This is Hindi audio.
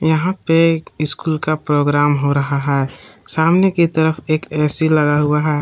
यहां पे एक स्कूल का प्रोग्राम हो रहा है सामने की तरफ एक ए_सी लगा हुआ है।